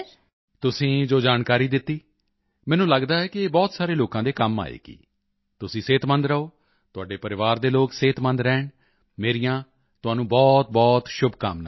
ਤੁਸੀਂ ਜੋ ਜਾਣਕਾਰੀ ਦਿੱਤੀ ਮੈਨੂੰ ਲਗਦਾ ਹੈ ਕਿ ਇਹ ਬਹੁਤ ਸਾਰੇ ਲੋਕਾਂ ਦੇ ਕੰਮ ਆਏਗੀ ਤੁਸੀਂ ਸਿਹਤਮੰਦ ਰਹੋ ਤੁਹਾਡੇ ਪਰਿਵਾਰ ਦੇ ਲੋਕ ਸਿਹਤਮੰਦ ਰਹਿਣ ਮੇਰੀਆਂ ਤੁਹਾਨੂੰ ਬਹੁਤਬਹੁਤ ਸ਼ੁਭਕਾਮਨਾਵਾਂ